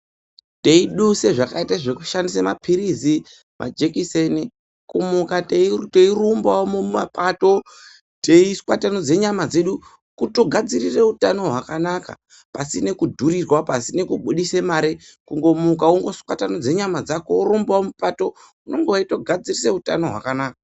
Teidusa zvakaita kushandisa mapirizi majekiseni kumuka teirumbawo mumapato tei swatanudza nyama dzedu kuti tIite hutano hwakanaka pasina kudhurirwa pasina kubudisa mare wosatwanudza nyama dzako worumba mupato unenge uchigadzirisawo hutano hwakanaka.